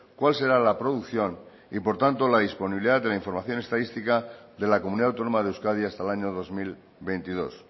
cuál será la producción y por tanto la disponibilidad de la información estadística de la comunidad autónoma de euskadi hasta el año dos mil veintidós